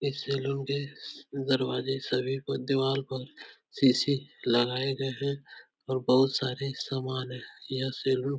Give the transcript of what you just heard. इस सैलून स्स के दरवाजे सभी को देवाल पर शीशी लगाए गए हैं और बहुत सारे सामान हैं। यह सैलून --